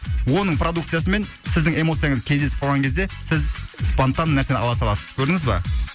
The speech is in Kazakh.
оның продукциясы мен сіздің эмоцияңыз кездесіп қалған кезде сіз спонтанно нәрсені ала саласыз көрдіңіз ба